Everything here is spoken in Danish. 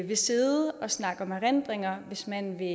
vil sidde og snakke om erindringer hvis man vil